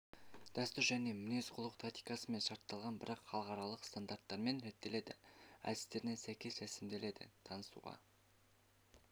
дәстүр және мінез-құлық тактикасымен шартталған бірақ халықаралық стандарттармен реттеледі әдістеріне сәйкес ресімделеді танысуға